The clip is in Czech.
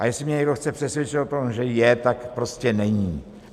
A jestli mě někdo chce přesvědčit o tom, že je, tak prostě není.